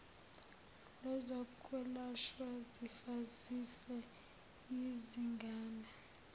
lwezokwelashwa zifa ziseyizingane